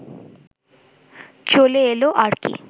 চলে এলো আর কি